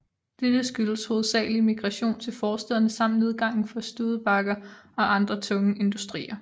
Dette skyldtes hovedsagelig migration til forstæderne samt nedgangen for Studebaker og andre tunge industrier